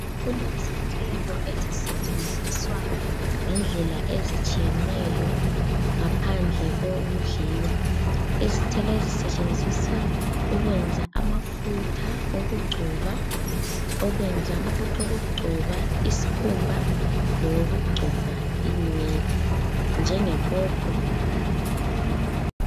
Kulezithelo ezisetshenzizwa ngendlela ezitshiyeneyo, ngaphandle kokudliwa. Izithelo ezisetshenzizwa ukwenza amafutha okugcoba, ukwenza amafutha okugcoba isikhumba lokugcoba inwele, njenge popo.